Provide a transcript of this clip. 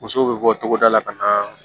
Musow bɛ bɔ togoda la ka na